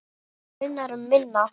Það munar um minna.